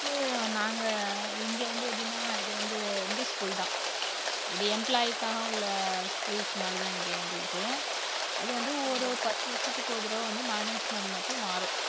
first உ நாங்க இங்க வந்து எப்படின்னா இது வந்து இந்த school தான் இது employee க்காக உள்ள schools மாதிரிதான் இங்க எங்களுக்கு அது வந்து ஒரு பத்து வருஷத்துக்கு ஒரு தடவை வந்து management மட்டும் மாறும்